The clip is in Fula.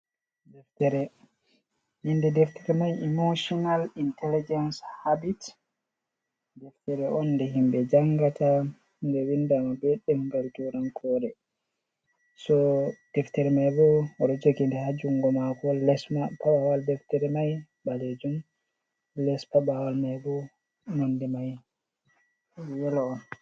Inde deftere mai imoshinal intaligens habit. Deftere on nde himɓe jangata nde windama be turankore. so deftere mai bo oɗo jogi ha jungo mako on, paɓawal deftere mai balejum, les ma nde mai yelo on.